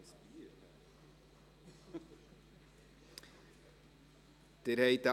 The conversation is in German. Abstimmung (Geschäft 2019.BVE.113;